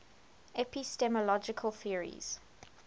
epistemological theories